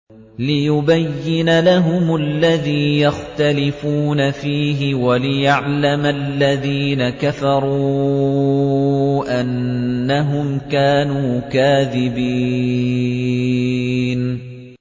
لِيُبَيِّنَ لَهُمُ الَّذِي يَخْتَلِفُونَ فِيهِ وَلِيَعْلَمَ الَّذِينَ كَفَرُوا أَنَّهُمْ كَانُوا كَاذِبِينَ